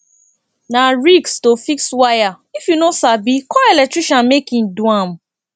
na risk to fix wire if you no sabi call electrician make e do am